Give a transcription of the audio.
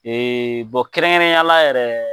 Ee bɔn kɛrɛnkɛrɛnnenyala yɛrɛ